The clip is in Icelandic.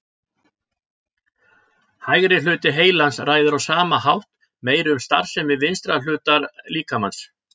Hægri hluti heilans ræður á sama hátt meiru um starfsemi vinstra hlutar líkamans.